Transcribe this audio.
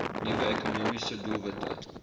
nuwe ekonomiese doelwitte